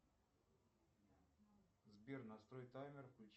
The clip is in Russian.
сбер настрой таймер